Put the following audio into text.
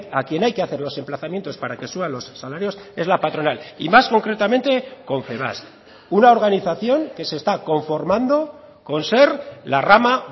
a quien hay que hacer los emplazamientos para que suba los salarios es la patronal y más concretamente confebask una organización que se está conformando con ser la rama